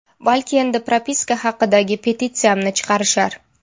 Balki endi propiska haqidagi petitsiyamni chiqarishar.